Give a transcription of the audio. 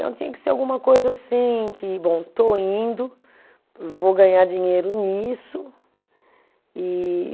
Então tinha que ser alguma coisa assim que, bom, estou indo, vou ganhar dinheiro nisso, e